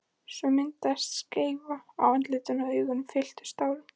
Svo myndaðist skeifa á andlitinu og augun fylltust tárum.